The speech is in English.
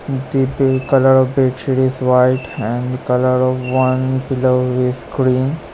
The pink colour of bedsheet is white and colour of one pillow is green.